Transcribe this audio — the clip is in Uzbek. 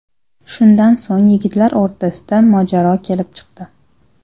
Shundan so‘ng yigitlar o‘rtasida mojaro kelib chiqdi.